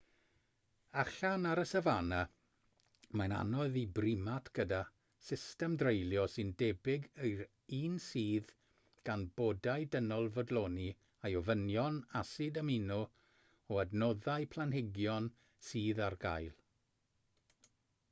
allan ar y safana mae'n anodd i brimat gyda system dreulio sy'n debyg i'r un sydd gan bodau dynol fodloni ei ofynion asid amino o adnoddau planhigion sydd ar gael